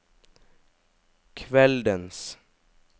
kveldens